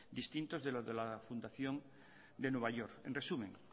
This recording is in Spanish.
distintos de los de la fundación de nueva york en resumen